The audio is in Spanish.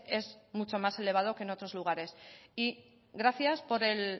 es mucho más elevado que en otros lugares y gracias por el